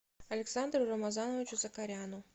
александру рамазановичу закаряну